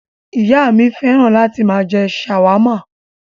Ìyá mi fẹ́ràn láti máa jẹ ṣàwámà.